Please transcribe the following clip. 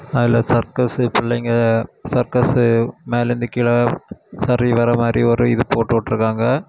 அதுல சர்க்கஸ்ஸு பிள்ளைங்க சர்க்கஸ் மேல இருந்து கீழ சரிவர மாரி ஒரு இது போட்டு இருக்காங்க.